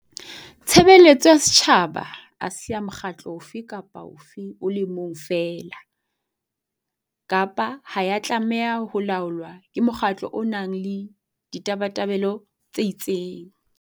Tshebeletso ya setjhaba ha se ya mokgatlo ofe kapa ofe o le mong feela, kapa ha ya tlameha ho laolwa ke mokgatlo o nang le ditabatabelo tse itseng.